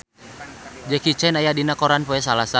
Jackie Chan aya dina koran poe Salasa